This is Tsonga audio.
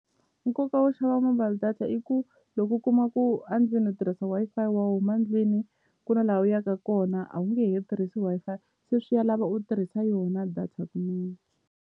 Nkoka wo xava mobile data i ku loko u kuma ku a ndlwini u tirhisa Wi-Fi wa huma ndlwini ku na la u yaka kona a wu nge he tirhisi Wi-Fi se swi ya lava u tirhisa yona data .